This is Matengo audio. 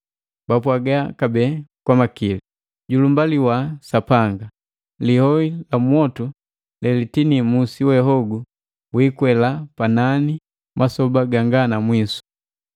Bapwaga kabee kwa makili, “Julumbaliwa Sapanga! Lioi la mwotu lelitinii musi we hogu wikwela panani masoba ganga namwisu!”